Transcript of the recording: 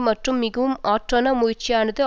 மற்றும் மிகவும் ஆற்றொணா முயற்சியானது